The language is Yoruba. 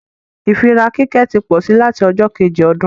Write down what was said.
ìfíra kíkẹ́ tí pósí lati ọjọ́ Kejì ọdún